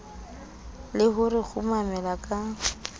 le ho re kumela ka